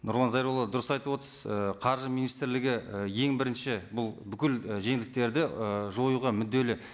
нұрлан зайролла дұрыс айтып отырсыз і қаржы министрлігі і ең бірінші бұл бүкіл і жеңілдіктерді і жоюға мүдделі